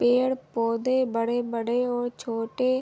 पेड़-पौधे बड़े-बड़े और छोटे--